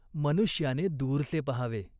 मनुष्याने दूरचे पहावे.